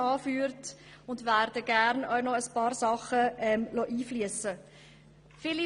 Ich werde gerne auch noch einige Dinge einfliessen lassen.